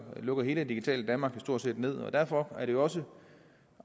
lukker hele det digitale danmark jo stort set ned og derfor er det jo også